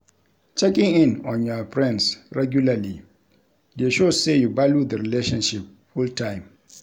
Checking in on your friends regularly de show say you value the relationship full time